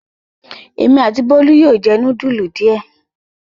Èmi àti Bólú yóò jẹ núdúlù díẹ̀.